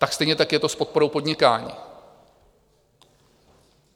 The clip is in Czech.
Tak stejně tak je to s podporou podnikání.